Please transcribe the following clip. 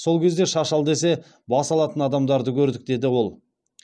сол кезде шаш ал десе бас алатын адамдарды көрдік деді ол